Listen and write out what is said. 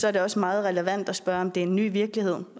er det også meget relevant at spørge om det er en ny virkelighed